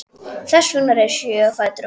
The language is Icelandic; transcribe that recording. Þess vegna reis ég á fætur og fór.